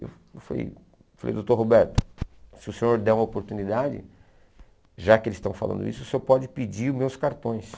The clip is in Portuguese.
Eu falei, doutor Roberto, se o senhor der uma oportunidade, já que eles estão falando isso, o senhor pode pedir os meus cartões.